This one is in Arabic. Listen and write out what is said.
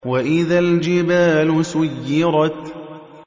وَإِذَا الْجِبَالُ سُيِّرَتْ